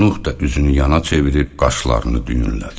Nuh da üzünü yana çevirib qaşlarını düyünlədi.